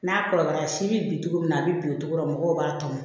N'a kɔrɔbayara si bɛ bin cogo min na a bɛ bin tɔ tora mɔgɔw b'a tɔmɔ